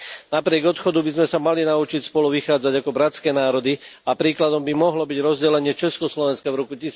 Napriek odchodu by sme sa mali naučiť spolu vychádzať ako bratské národy a príkladom by mohlo byť rozdelenie Československa v roku